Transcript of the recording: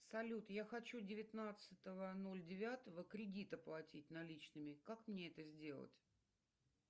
салют я хочу девятнадцатого ноль девятого кредит оплатить наличными как мне это сделать